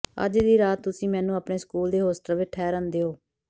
ਅੱਜ ਦੀ ਰਾਤ ਤੁਸੀਂ ਮੈਨੂੰ ਆਪਣੇ ਸਕੂਲ ਦੇ ਹੋਸਟਲ ਵਿੱਚ ਠਹਿਰਨ ਦਿਉ